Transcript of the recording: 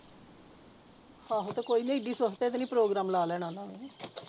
ਆਹੋ ਤੇ ਕੋਈ ਨੀ ਇੱਡੀ ਸਵਫਖਤੇ ਤਾਂ ਨਹੀਂ ਪ੍ਰੋਗਰਾਮ ਲਾ ਲੈਣਾ ਉਹਨਾਂ ਨੇ